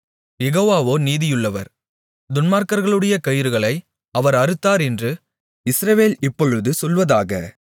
யெகோவாவோ நீதியுள்ளவர் துன்மார்க்கர்களுடைய கயிறுகளை அவர் அறுத்தார் என்று இஸ்ரவேல் இப்பொழுது சொல்வதாக